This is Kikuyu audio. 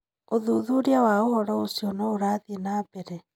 ũthuthuria wa ũhoro ũcio no ũrathĩe na mbere.